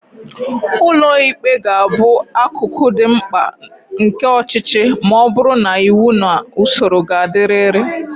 Ụlọ ikpe ga-abụ akụkụ dị mkpa nke ọchịchị ma ọ bụrụ na iwu na usoro ga-adịrịrị.